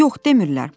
Yox, demirlər.